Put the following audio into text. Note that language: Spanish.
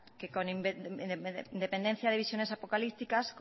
que con independencia de visiones apocalípticas